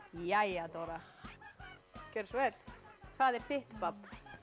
jæja Dóra gjörðu svo vel hvað er þitt babb